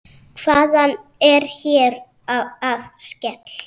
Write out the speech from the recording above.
Hvað er hér að ske!?